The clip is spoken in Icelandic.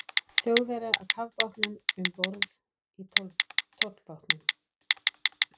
Þjóðverja af kafbátnum um borð í tollbátnum.